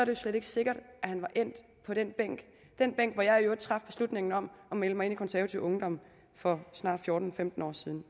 jo slet ikke sikkert at han var endt på den bænk den bænk hvor jeg i øvrigt traf beslutningen om at melde mig ind i konservativ ungdom for snart fjorten femten år siden